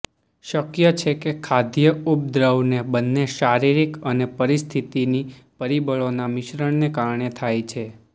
શક્ય છે કે ખાદ્ય ઉપદ્રવને બંને શારીરિક અને પરિસ્થિતીની પરિબળોના મિશ્રણને કારણે થાય છે